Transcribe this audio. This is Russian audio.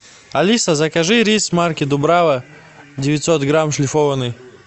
алиса закажи рис марки дубрава девятьсот грамм шлифованный